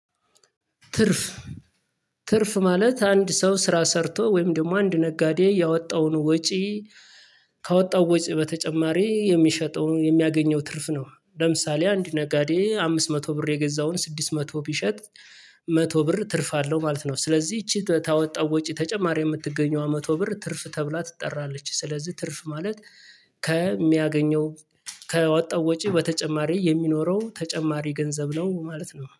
ትርፍ ትርፍ ማለት አንድ ሰው ስራ ሰርቶ ወይም ደግሞ አንድ ነጋዴ ያወጣውን ወጪ ከወጣው ወጪ በተጨማሪ የሚሸጠውን የሚያገኘው ትርፍ ነው። ለምሳሌ አንድ ነጋዴ አምስት መቶ ብር የገዛውን ስድስት መቶ ቢሸጥ መቶ ብር ትርፍ አለው ማለት ነው። ስለዚህ ይቺ ታወጣው ወጪ ተጨማሪ የምትገኘው መቶ ብር ትርፍ ተብላ ትጠራለች። ስለዚህ ትርፍ ማለት ከሚያገኘው ከወጣው ወጪ በተጨማሪ የሚኖረው ተጨማሪ ገንዘብ ነው ማለት ነው